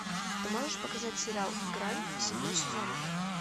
ты можешь показать сериал грань седьмой сезон